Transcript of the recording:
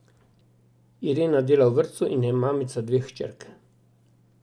Irena dela v vrtcu in je mamica dveh hčerk.